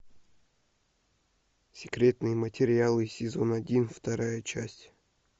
секретные материалы сезон один вторая часть